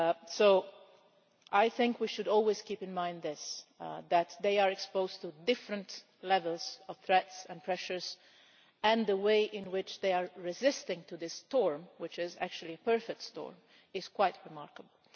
So I think we should always keep this in mind that they are exposed to different levels of threats and pressures, and the way in which they are resisting this storm, which is actually a perfect storm, is quite remarkable.